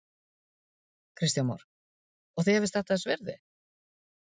Kristján Már: Og þér finnst þetta þess virði?